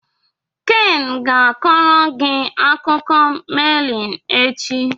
Ken ga-akọrọ gị akụkọ meliin echi.